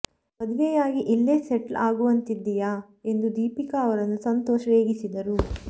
ಮದುವೆಯಾಗಿ ಇಲ್ಲೇ ಸೆಟ್ಲ್ ಆಗುವಂತಿದ್ದೀಯಾ ಎಂದು ದೀಪಿಕಾ ಅವರನ್ನು ಸಂತೋಷ್ ರೇಗಿಸಿದರು